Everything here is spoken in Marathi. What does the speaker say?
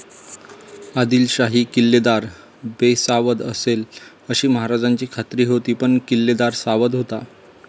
आदिलशाही किल्लेदार बेसावध असेल अशी महाराजांची खात्री होती पण किल्लेदार सावध होता.